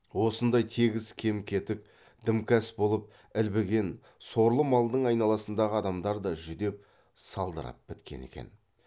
осындай тегіс кем кетік дімкәс болып ілбіген сорлы малдың айналасындағы адамдар да жүдеп салдырап біткен екен